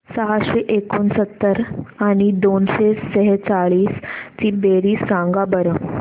सहाशे एकोणसत्तर आणि दोनशे सेहचाळीस ची बेरीज सांगा बरं